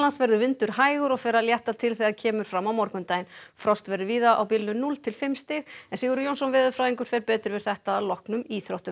verður vindur hægur og fer að létta til þegar kemur fram á morgundaginn frost verður víða á bilinu núll til fimm stig Sigurður Jónsson veðurfræðingur fer betur yfir þetta að loknum íþróttum